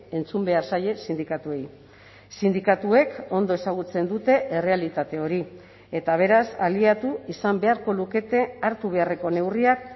entzun behar zaie sindikatuei sindikatuek ondo ezagutzen dute errealitate hori eta beraz aliatu izan beharko lukete hartu beharreko neurriak